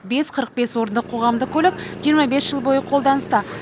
бес қырық бес орындық қоғамдық көлік жиырма бес жыл бойы қолданыста